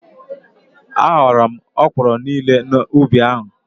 A ghọrọ m ọkwụrụ niile nọ n'ubi ahụ.